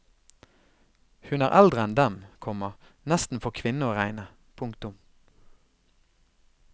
Hun er eldre enn dem, komma nesten for kvinne å regne. punktum